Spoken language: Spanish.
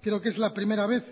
creo que es la primera vez